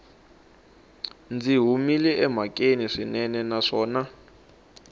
byi humile emhakeni swinene naswona